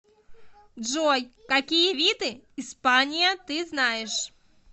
джой какие виды испания ты знаешь